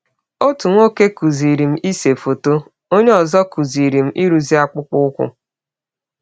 Ọtụ nwọke kụziiri m ise fọtọ, onye ọzọ kụziri m ịrụzi akpụkpọ ụkwụ.